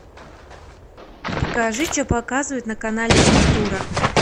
покажи что показывают на канале культура